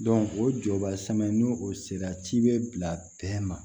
o jɔbasmɛ n'o o sera cibɛ bila dɛn ma